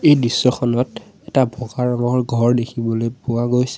এই দৃশ্যখনত এটা বগা ৰঙৰ ঘৰ দেখিবলৈ পোৱা গৈছে।